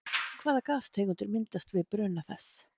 Hvaða gastegundir myndast við bruna þess?